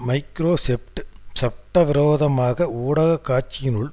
Microsoft சட்டவிரோதமாக ஊடக காட்சியினுள்